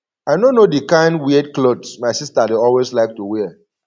i no know the kin weird cloth my sister dey always like to wear